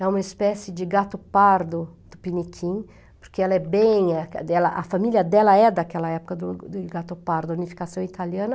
É uma espécie de gato pardo do Piniquim, porque ela é bem dela, a família dela é daquela época do do gato pardo, unificação italiana.